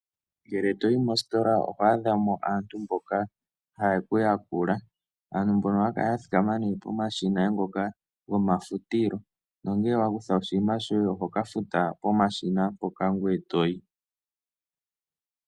Ngele toyi mositola ohwaadha mo aantu mboka haye ku yakula. Aantu mbono ohaya kala nee ya thikama poshina ngoka goma futilo. Nongele wa kutha oshinima shoye oho ka futa pomashina mpoka ngoye etoyi.